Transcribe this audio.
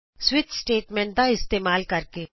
switch statement ਦਾ ਇਸਤੇਮਾਲ ਕਰਕੇ